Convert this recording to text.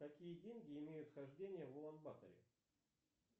какие деньги имеют хождение в улан баторе